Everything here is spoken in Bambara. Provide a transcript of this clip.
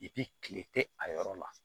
kile tɛ a yɔrɔ la